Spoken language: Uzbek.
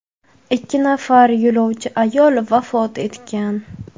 Ikki nafar yo‘lovchi ayol vafot etgan.